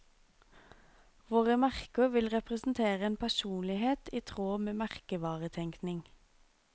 Våre merker vil representere en personlighet i tråd med merkevaretenkning.